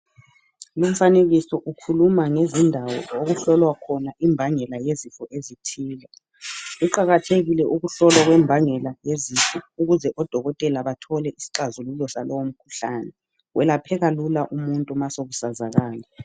Lumfanekiso ukhuluma ngezindawo okuhlolwa khona imbangela yezifo ezithile, Kuqakathekile ukuhlolwa kwembangela yezifo. Ukuze odokotela bathole isixazululo salowomkhuhlane. Welapheka lula umuntu, ma sekusazakala.